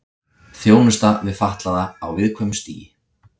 Þjónusta við fatlaða á viðkvæmu stigi